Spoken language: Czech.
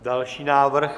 Další návrh?